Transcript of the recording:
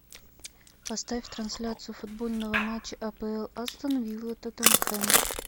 поставь трансляцию футбольного матча апл астон вилла тоттенхэм